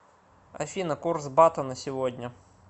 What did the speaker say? афина курс бата на сегодня